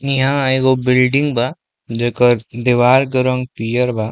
इंहा एगो बिल्डिंग बा जेकर देवार के रंग पियर बा।